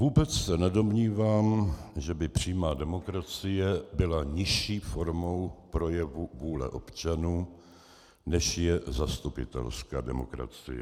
Vůbec se nedomnívám, že by přímá demokracie byla nižší formou projevu vůle občanů, než je zastupitelská demokracie.